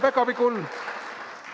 Häid pühi!